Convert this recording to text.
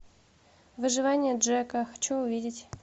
выживание джека хочу увидеть